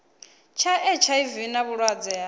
tsha hiv na vhulwadze ha